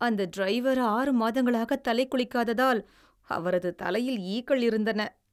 அந்த டிரைவர் ஆறு மாதங்களாக தலை குளிக்காததால், அவரது தலையில் ஈக்கள் இருந்தன.